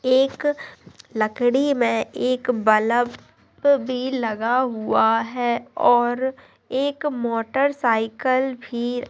एक लकड़ी में एक बल्ब भी लगा हुआ है और एक मोटर साइकिल--